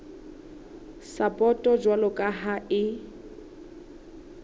sapoto jwalo ka ha e